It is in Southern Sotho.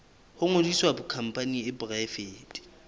ho ngodisa khampani e poraefete